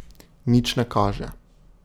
Nič ne kaže.